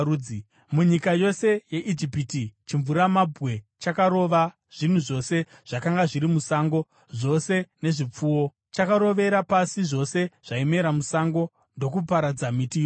Munyika yose yeIjipiti, chimvuramabwe chakarova zvinhu zvose zvakanga zviri musango, zvose vanhu nezvipfuwo; chakarovera pasi zvose zvaimera musango ndokuparadza miti yose.